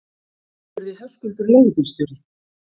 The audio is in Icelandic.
spurði Höskuldur leigubílstjóri.